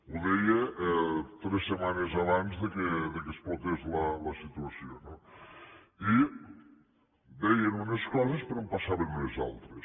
ho deia tres setmanes abans que explotés la situació no i deien unes coses però en passaven unes altres